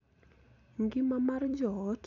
Ngima mar joot, kod winjruok e kind oganda.